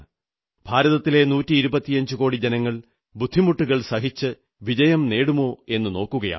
ഭാരതത്തിലെ നൂറ്റി ഇരുപത്തിയഞ്ചുകോടി ജനങ്ങൾ ബുദ്ധിമുട്ടുകൾ സഹിച്ച് വിജയം നേടുമോ എന്നു നോക്കുകയാണ്